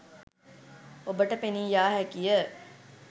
ඔබට පෙනීයාහැකිය.